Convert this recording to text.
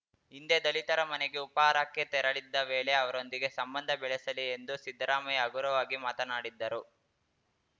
ಹಿಂದೆ ದಲಿತರ ಮನೆಗೆ ಉಪಾಹಾರಕ್ಕೆ ತೆರಳಿದ್ದ ವೇಳೆ ಅವರೊಂದಿಗೆ ಸಂಬಂಧ ಬೆಳೆಸಲಿ ಎಂದು ಸಿದ್ದರಾಮಯ್ಯ ಹಗುರವಾಗಿ ಮಾತನಾಡಿದ್ದರು